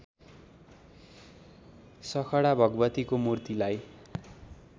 सखडा भगवतीको मूर्तिलाई